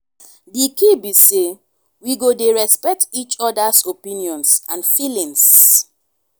di key be say we go dey respect each oda's opinions and feelings.